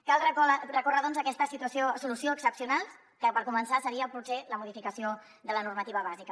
cal recórrer doncs a aquesta solució excepcional que per començar seria potser la modificació de la normativa bàsica